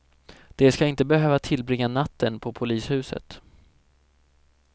De ska inte behöva tillbringa natten på polishuset.